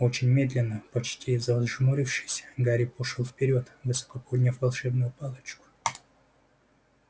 очень медленно почти зажмурившись гарри пошёл вперёд высоко подняв волшебную палочку